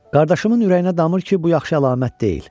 Qardaşımın ürəyinə damır ki, bu yaxşı əlamət deyil.